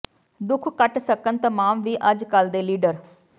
ਦੁਖ ਕਟ ਸਕਣ ਤਮਾਮ ਹੀ ਅਜ ਕਲ ਦੇ ਲੀਡਰ